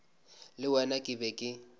le wena ke be ke